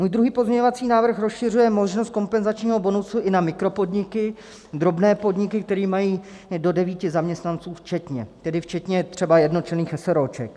Můj druhý pozměňovací návrh rozšiřuje možnost kompenzačního bonusu i na mikropodniky, drobné podniky, které mají do devíti zaměstnanců včetně, tedy včetně třeba jednočlenných eseróček.